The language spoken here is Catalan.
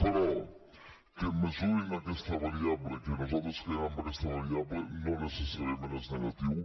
però que mesurin aquesta variable que nosaltres creiem en aquesta variable no necessàriament és negatiu